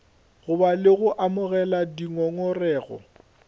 goba le go amogela dingongorego